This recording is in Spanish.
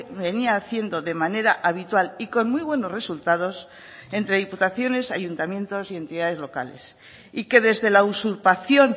venía haciendo de manera habitual y con muy buenos resultados entre diputaciones ayuntamientos y entidades locales y que desde la usurpación